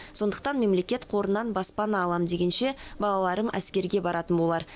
сондықтан мемлекет қорынан баспана алам дегенше балаларым әскерге баратын болар